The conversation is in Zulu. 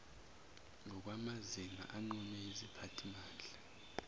ngokwamazinga anqunywe yiziphathimandla